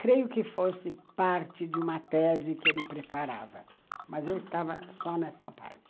Creio que fosse parte de uma tese que ele preparava, uhum, mas eu estava só nessa parte.